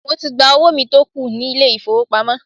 Mo ti gba owó mi tó kù nílé ìfowópamọ́.